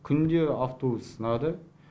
күнде автобус сынады